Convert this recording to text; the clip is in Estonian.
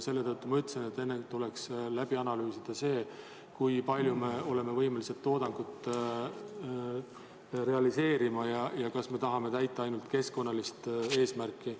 Selle tõttu ma ütlesin, et enne tuleks läbi analüüsida see, kui palju me oleme võimelised toodangut realiseerima ja kas me tahame täita ainult keskkonnalist eesmärki.